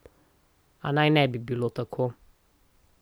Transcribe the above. A naj ne bi bilo tako.